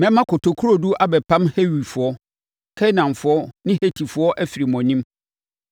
Mɛma kotokurodu abɛpam Hewifoɔ, Kanaanfoɔ ne Hetifoɔ afiri mo anim.